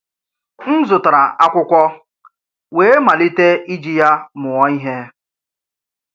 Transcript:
M̀ zùtárà ákwụ́kwọ̀ wéé malítè ìjì yà mùọ̀ íhè.